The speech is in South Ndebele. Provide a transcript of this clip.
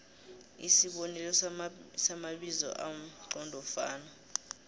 isibonelo samabizo amqondofana